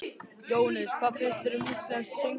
Jóhannes: Hvað finnst þér um íslenskt söngfólk?